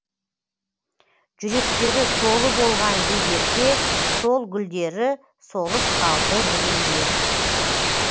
жүректері толы болған гүлдерге сол гүлдері солып қалды бүгінде